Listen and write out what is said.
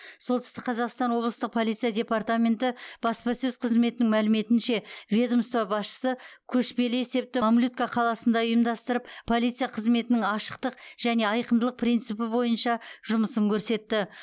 солтүстік қазақстан облыстық полиция департаменті баспасөз қызметінің мәліметінше ведомство басшысы көшпелі есепті мамлютка қаласында ұйымдастырып полиция қызметінің ашықтық және айқындылық принципі бойынша жұмысын көрсетті